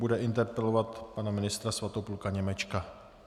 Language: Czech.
Bude interpelovat pana ministra Svatopluka Němečka.